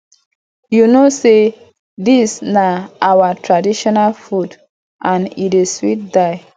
you no know say dis na our traditional food and e dey sweet die